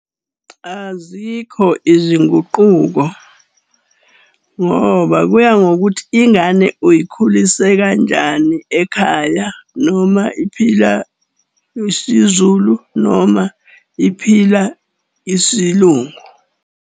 Azikho izinguquko ngoba kuya ngokuthi ingane uyikhulise kanjani ekhaya, noma iphila isiZulu, noma iphila isiLungu.